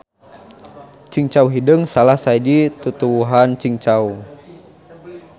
Cingcau hideung salah sahiji tutuwuhan cingcau.